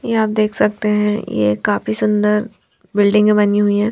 ये आप देख सकते है ये काफी सुंदर बिल्डिंग बनी हुयी है.